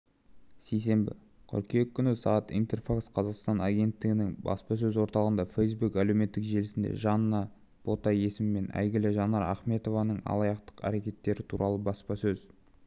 сейсенбі қыркүйек күні сағат интерфакс-қазақстан агенттігінің баспасөз орталығында фэйсбук әлеуметтік желісінде жанна бота есімімен әйгілі жаннар ахметованың алаяқтық әрекеттері туралы баспасөз